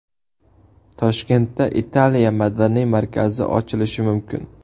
Toshkentda Italiya madaniy markazi ochilishi mumkin.